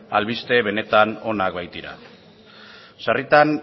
albiste benetan onak baitira sarritan